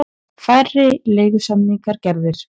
Færri leigusamningar gerðir